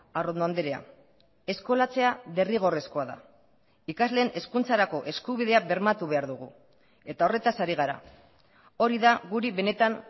arrondo andrea eskolatzea derrigorrezkoa da ikasleen hezkuntzarako eskubidea bermatu behar dugu eta horretaz ari gara hori da guri benetan